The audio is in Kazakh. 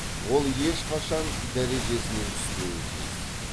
ол ешқашан дәрежесінен түспеуі тиіс